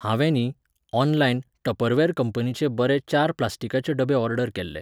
हांवें न्ही, online, Tupperware कंपनीचे बरे चार प्लास्टीकाचे डबे ऑर्डर केल्ले.